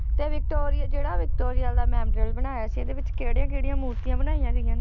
ਤੇ ਵਿਕਟੋਰੀਆ ਜਿਹੜਾ ਵਿਕਟੋਰੀਆ ਦਾ memorial ਬਣਾਇਆ ਸੀ ਇਹਦੇ ਵਿੱਚ ਕਿਹੜੀਆਂ ਕਿਹੜੀਆਂ ਮੂਰਤੀਆਂ ਬਣਾਈਆਂ ਗਈਆਂ ਨੇ।